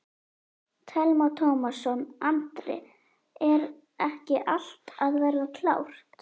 Telma Tómasson: Andri, er ekki allt að verða klárt?